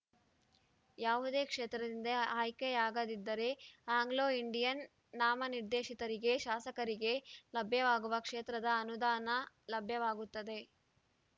ಯಾವುದೇ ಕ್ಷೇತ್ರದಿಂದ ಆಯ್ಕೆಯಾಗದಿದ್ದರೆ ಆಂಗ್ಲೋಇಂಡಿಯನ್‌ ನಾಮನಿರ್ದೇಶಿತರಿಗೆ ಶಾಸಕರಿಗೆ ಲಭ್ಯವಾಗುವ ಕ್ಷೇತ್ರದ ಅನುದಾನ ಲಭ್ಯವಾಗುತ್ತದೆ